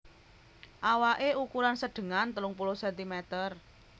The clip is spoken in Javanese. Awaké ukuran sedengan telung puluh sentimeter